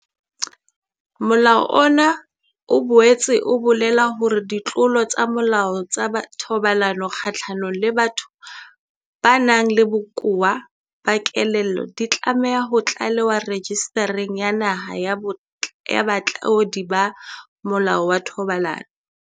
Molao ona o boetse o bolela hore ditlolo tsa molao tsa thobalano kgahlanong le batho ba nang le bokowa ba kelello di tlameha ho tlalewa Rejistareng ya Naha ya Batlodi ba Molao wa Thobalano.